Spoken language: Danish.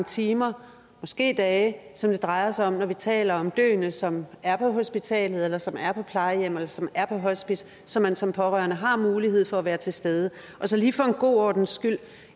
timer måske dage som det drejer sig om når vi taler om døende som er på hospitalet eller som er på plejehjemmet eller som er på hospice så man som pårørende har mulighed for at være til stede og så lige for god ordens skyld